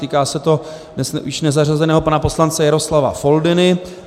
Týká se to dnes již nezařazeného pana poslance Jaroslava Foldyny.